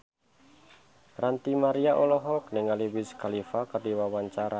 Ranty Maria olohok ningali Wiz Khalifa keur diwawancara